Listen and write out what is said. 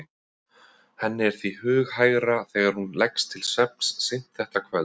Henni er því hughægra þegar hún leggst til svefns seint þetta kvöld